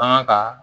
Bagan ka